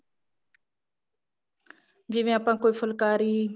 ਜਿਵੇਂ ਆਪਾਂ ਕੋਈ ਫੁਲਕਾਰੀ